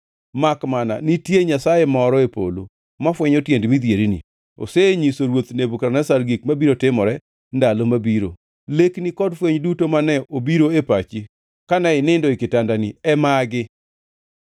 makmana nitie Nyasaye moro e polo mafwenyo tiend midhierni. Osenyiso ruoth Nebukadneza gik mabiro timore ndalo mabiro. Lekni kod fweny duto mane obiro e pachi kane inindo e kitandani e magi: